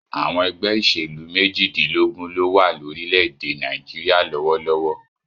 Àwọn ẹgbẹ́ ìṣèlú méjìdínlógún ló wà lórílẹ̀-èdè Nàìjíríà lọ́wọ́lọ́wọ́.